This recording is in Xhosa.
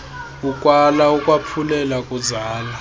ukwala ukwaphulela kuzala